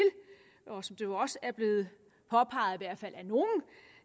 og som det også er blevet påpeget